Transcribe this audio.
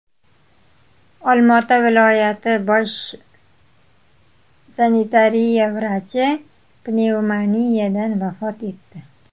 Olmaota viloyati bosh sanitariya vrachi pnevmoniyadan vafot etdi.